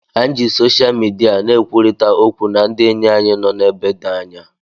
Anyị ji sosha midia na-ekwurịta okwu na ndị enyi anyị nọ n'ebe dị anya